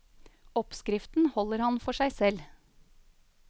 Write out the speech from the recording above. Oppskriften holder han for seg selv.